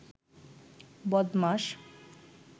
বদমাস